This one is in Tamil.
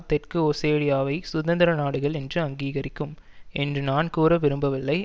தெற்கு ஓசேடியாவை சுதந்திர நாடுகள் என்று அங்கீகரிக்கும் என்று நான் கூற விரும்பவில்லை